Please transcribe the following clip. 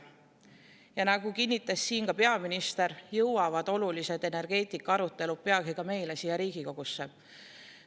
Ja nagu kinnitas siin ka peaminister, jõuavad olulised energeetikaarutelud peagi ka meile siia Riigikogusse.